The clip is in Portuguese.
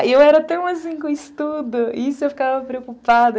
E eu era tão assim com estudo, isso eu ficava preocupada.